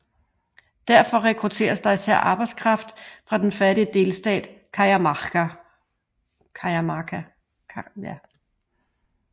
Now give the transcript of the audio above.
Derfor rekrutteres der især arbejdskraft fra den fattige delstat Cajamarca